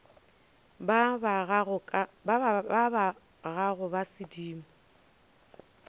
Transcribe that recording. ba ba gago ba sedimo